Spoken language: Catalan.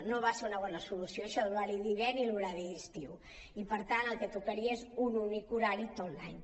no va ser una bona solució això de l’horari d’hivern i l’horari d’estiu i per tant el que tocaria és un únic horari tot l’any